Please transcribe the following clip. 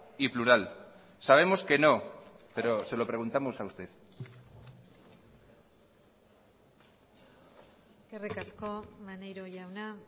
y plural sabemos que no pero se lo preguntamos a usted eskerrik asko maneiro jauna